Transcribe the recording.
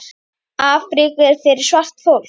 Afríka er fyrir svart fólk.